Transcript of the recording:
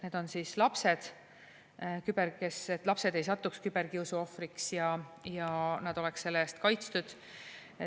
Esiteks on lapsed – et lapsed ei satuks küberkiusu ohvriks ja nad oleksid selle eest kaitstud.